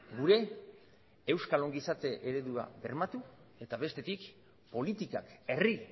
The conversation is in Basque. gure euskal ongizate eredura bermatu eta bestetik politikak herri